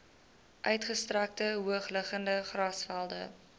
uitgestrekte hoogliggende grasvelde